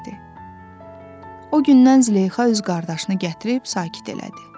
O gündən Züleyxa öz qardaşını gətirib sakit elədi.